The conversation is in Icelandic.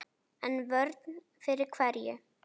En vörn fyrir hverju?